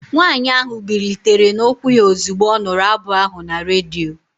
Nwanyị ahụ bilitere n'ụkwụ ya ozugbo ọ nụrụ abụ ahụ na redio